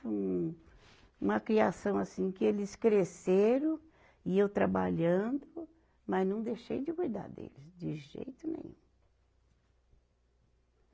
Um, uma criação assim, que eles cresceram e eu trabalhando, mas não deixei de cuidar deles, de jeito nenhum.